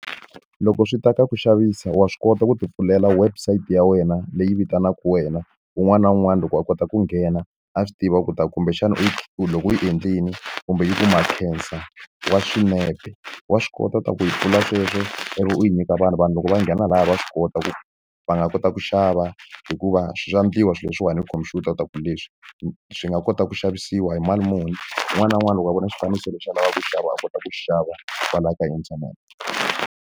Loko swi ta ka ku xavisa wa swi kota ku ti pfulela website ya wena leyi vitanaka wena, un'wana na un'wana loko a kota ku nghena a swi tiva leswaku kumbexana u loko u yi endlile kumbe yi wa swinepe. Wa swi kota leswaku yi pfula sweswo ivi u yi nyika vanhu. Vanhu loko va nghena laha va swi kota ku va nga kota ku xava hikuva swi endliwa swilo leswiwani hi khompyuta leswaku leswi swi nga kota ku xavisiwa hi mali muni. Un'wana na un'wana loko a vona xifaniso lexi a lavaka ku xava a kota ku xava kwalahaya ka internet.